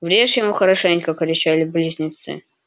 врежь ему хорошенько кричали близнецы